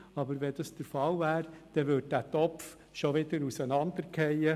Wäre dies aber der Fall, würde der Topf schon wieder auseinanderfallen.